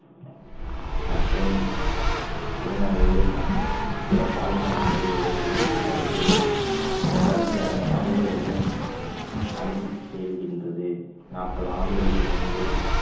மற்றும் திருநங்கைகள் மற்றும் பிற பாலின நிலைகளை உள்~ உள்ளடக்கிய உள்ளடக்கிய அதனை சமூக எவ்வோறு அணுகி செல்கின்றது நாற்பது ஆண்டுகளுக்கு முன்பே